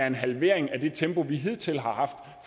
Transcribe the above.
en halvering af det tempo vi hidtil har haft